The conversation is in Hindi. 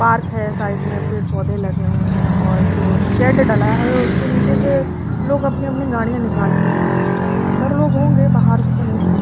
पार्क है साइड में पेड पौधे लगे हुए हैं और जो शेड डला है उस के निचे से लॉग अपने अपने गादीयाँ निकाल के जा रहे हैं अंदर लोग होंगे बहार से तो नहीं समझ में अराहा है।